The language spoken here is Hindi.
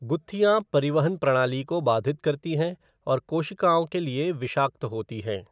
गुत्थियाँ परिवहन प्रणाली को बाधित करती हैं और कोशिकाओं के लिए विषाक्त होती हैं।